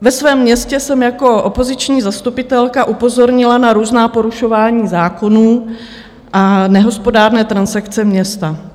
Ve svém městě jsem jako opoziční zastupitelka upozornila na různá porušování zákonů a nehospodárné transakce města.